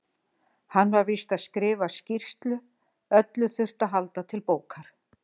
Hann var víst að skrifa skýrslu, öllu þurfti að halda til bókar.